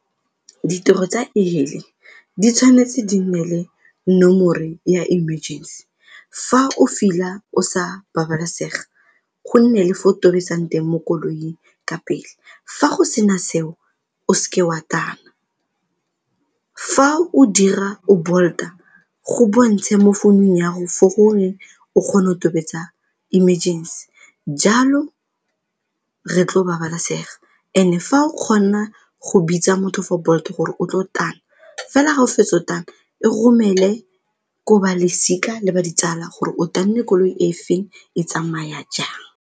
Ditirelo tsa e-hailing di tshwanetse di nne le nomore ya emergency, fa o feeler o sa babalesega go nne le fo o tobetsang teng mo koloing ka pele fa go sena seo o se ke wa tana fa o dira o Bolt-a go bontshe mo founung ya go fo gore o kgone o tobetsa emergency jalo re tlo babalesega. And-e fa o kgona go bitsa motho for Bolt-e gore o tlo tana fela ga o fetso tana o romele ko balosika le ditsala gore o tanne koloi e feng e tsamaya jang.